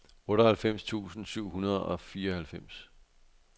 otteoghalvfems tusind syv hundrede og fireoghalvfems